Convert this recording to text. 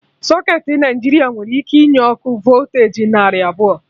Socketị Naijiria nwere ike inye ọkụ voltu narị abụọ